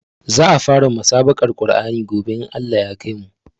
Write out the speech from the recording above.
Za a fara musabaƙar Qur'ani gobe in Allah ya kaimu